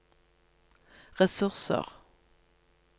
ressurser